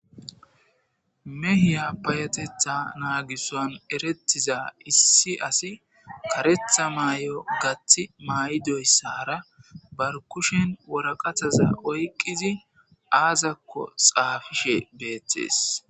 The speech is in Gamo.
mehiya payetetha naagisan erettiza issi asi karetha maay7o gaththi may7idoyssara bar kushen woraqathaza oyqqizi aazakko xaafishe beettees